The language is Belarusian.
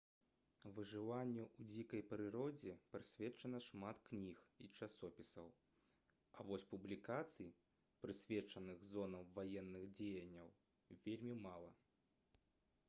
выжыванню ў дзікай прыродзе прысвечана шмат кніг і часопісаў а вось публікацый прысвечаных зонам ваенных дзеянняў вельмі мала